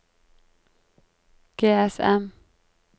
GSM